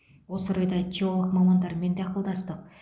осы орайда теолог мамандармен де ақылдастық